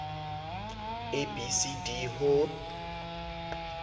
a b c d ho